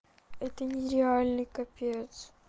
это не реальный капец